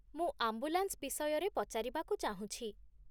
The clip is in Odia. ମୁଁ ଆମ୍ବୁଲାନ୍ସ ବିଷୟରେ ପଚାରିବାକୁ ଚାହୁଁଛି।